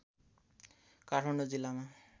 काठमाडौँ जिल्लामा